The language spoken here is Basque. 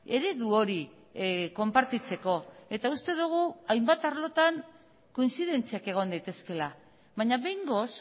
eredu hori konpartitzeko eta uste dugu hainbat arlotan kointzidentziak egon daitezkeela baina behingoz